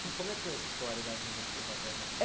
E como é que foi essa história da vinda dos seus avós maternos?